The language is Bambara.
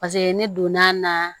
Paseke ne donna a na